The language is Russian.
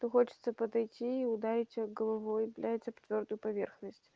то хочется подойти и ударить его головой блять об твёрдую поверхность